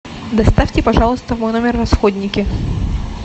доставьте пожалуйста в мой номер расходники